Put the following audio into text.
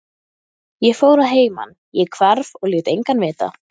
Hún klófesti hann með þessum frægu kvenlegu klækjum, sagði